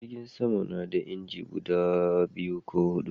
Jirgin sama na da inji guda biyu ko hudu